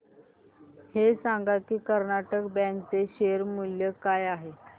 हे सांगा की कर्नाटक बँक चे शेअर मूल्य काय आहे